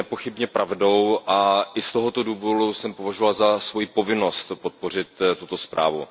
To je nepochybně pravdou a i z tohoto důvodu jsem považoval za svojí povinnost podpořit tuto zprávu.